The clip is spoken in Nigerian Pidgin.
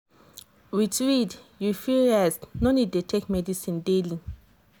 with iud you fit rest no need dey take medicine daily.